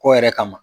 Kɔ yɛrɛ kama